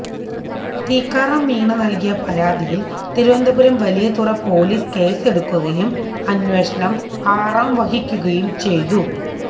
ടിക്കാറാം മീണ നൽകിയ പരാതിയിൽ തിരുവനന്തപുരം വലിയതുറ പോലീസ് കേസെടുക്കുകയും അന്വേഷണം ആറാംവഹിക്കുകയും ചെയ്തു